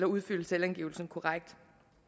udfylde selvangivelsen korrekt